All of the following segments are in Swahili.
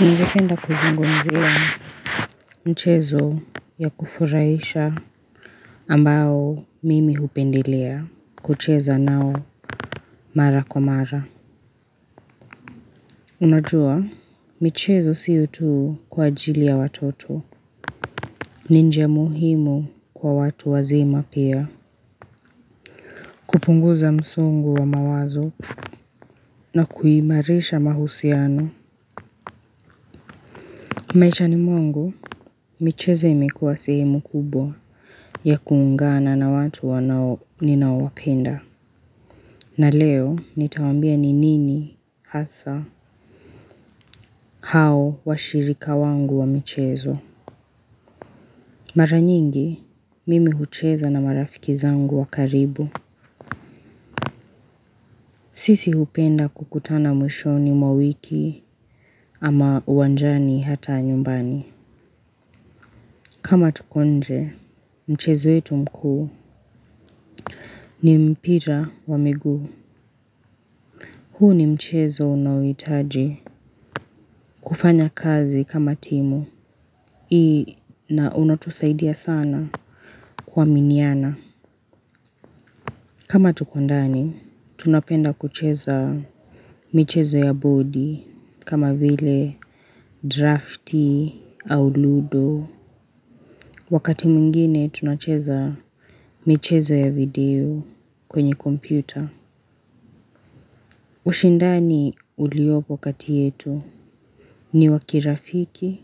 Ningependa kuzungumzia mchezo ya kufurahisha ambao mimi hupendelea kucheza nao mara kwa mara. Unajua michezo sio tu kwa ajili ya watoto. Ni njia muhimu kwa watu wazima pia. Kupunguza msongo wa mawazo na kuimarisha mahusiano. Maishani mwangu michezo imekuwa sehemu kubwa ya kuungana na watu wanao ninaowapenda. Na leo nitawaambia ni nini hasa hao washirika wangu wa michezo. Mara nyingi mimi hucheza na marafiki zangu wa karibu. Sisi hupenda kukutana mwishoni mwa wiki ama uwanjani hata nyumbani. Kama tuko nje mchezo wetu mkuu ni mpira wa miguu. Huu ni mchezo unaohitaji kufanya kazi kama timu hii na unatusaidia sana kuaminiana. Kama tuko ndani tunapenda kucheza michezo ya boardi. Kama vile drafti au ludo wakati mwingine tunacheza michezo ya video kwenye kompyuta. Ushindani uliopo kati yetu ni wa kirafiki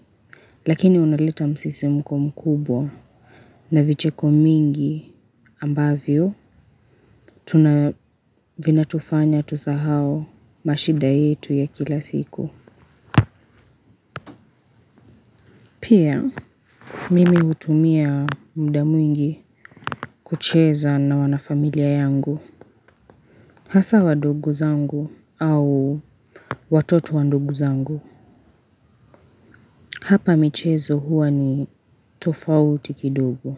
lakini unaleta msisimuko mkubwa. Na vicheko mingi ambavyo, tuna vinatufanya tusahau mashida yetu ya kila siku. Pia, mimi hutumia muda mwingi kucheza na wanafamilia yangu. Hasa wadogo zangu au watoto wa ndugu zangu. Hapa michezo huwa ni tofauti kidogo.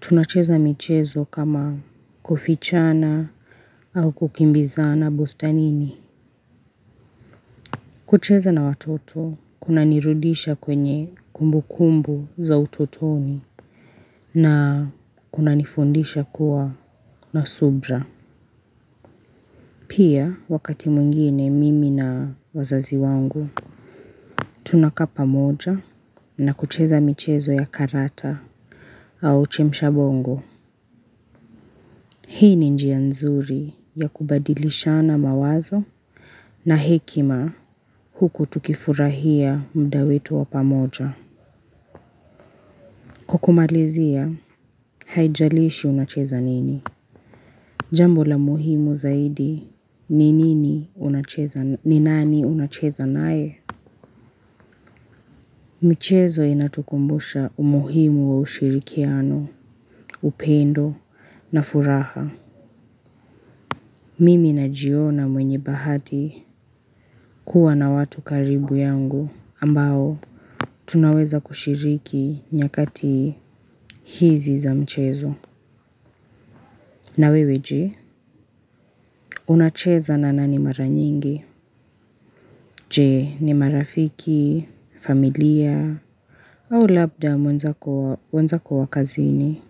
Tunacheza michezo kama kufichana au kukimbizana bustanini. Kucheza na watoto kunanirudisha kwenye kumbukumbu za utotoni na kunanifundisha kuwa na subira. Pia wakati mwingine mimi na wazazi wangu, tunakaa pamoja na kucheza michezo ya karata au chemshabongo. Hii ni njia nzuri ya kubadilishana mawazo na hekima huku tukifurahia muda wetu wa pamoja. Kukumalizia, haijalishi unacheza nini. Jambo la muhimu zaidi, ni nini unacheza, ni nani unacheza naye? Michezo inatukumbusha umuhimu wa ushirikiano, upendo, na furaha. Mimi najiona mwenye bahati kuwa na watu karibu yangu ambao, tunaweza kushiriki nyakati hizi za mchezo. Na wewe je, unacheza na nani mara nyingi? Je, ni marafiki, familia, au labda wenzako wa kazini.